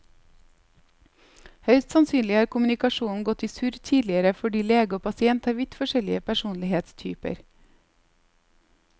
Høyst sannsynlig har kommunikasjonen gått i surr tidligere fordi lege og pasient har vidt forskjellig personlighetstyper.